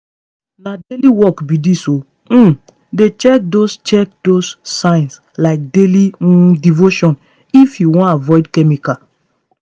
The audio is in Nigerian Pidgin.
na daily work be this o. um dey check those check those signs like daily um devotion if you wan avoid chemical.